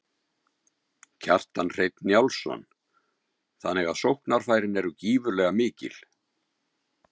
Kjartan Hreinn Njálsson: Þannig að sóknarfærin eru gífurlega mikil?